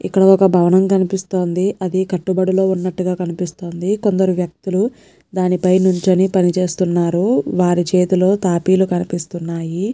ఇక్కడ ఒక్క భవనం కనిపిస్తోంది అది కట్టుబడిలో వున్నాటుగా కనిపిస్తోంది కొందరు వ్యక్తులు దానిపై నుంచొని పనిచేస్తున్నారు వారి చేతులో తాపీలు కనిపిస్తున్నాయి.